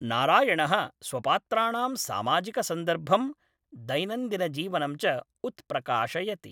नारायणः स्वपात्राणां सामाजिकसन्दर्भं दैनन्दिनजीवनं च उत्प्रकाशयति।